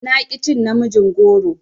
Na ƙi cin namijin goron.